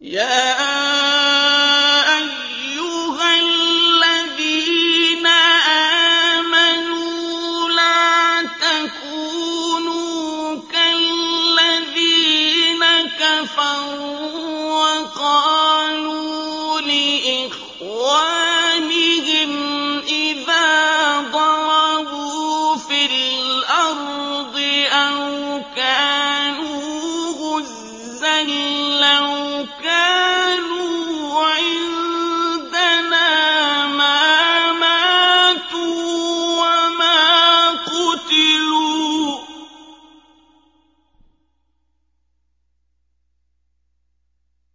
يَا أَيُّهَا الَّذِينَ آمَنُوا لَا تَكُونُوا كَالَّذِينَ كَفَرُوا وَقَالُوا لِإِخْوَانِهِمْ إِذَا ضَرَبُوا فِي الْأَرْضِ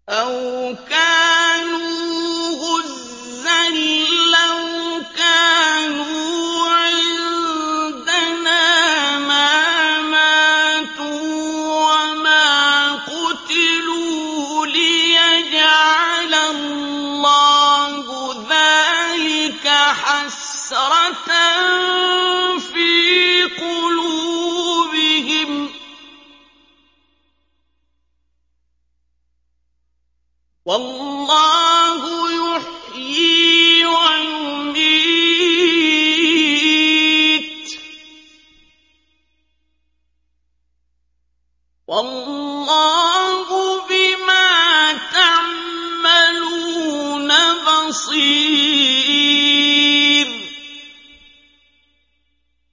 أَوْ كَانُوا غُزًّى لَّوْ كَانُوا عِندَنَا مَا مَاتُوا وَمَا قُتِلُوا لِيَجْعَلَ اللَّهُ ذَٰلِكَ حَسْرَةً فِي قُلُوبِهِمْ ۗ وَاللَّهُ يُحْيِي وَيُمِيتُ ۗ وَاللَّهُ بِمَا تَعْمَلُونَ بَصِيرٌ